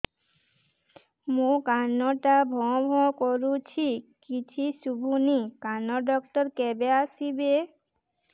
ମୋ କାନ ଟା ଭାଁ ଭାଁ କରୁଛି କିଛି ଶୁଭୁନି କାନ ଡକ୍ଟର କେବେ ଆସିବେ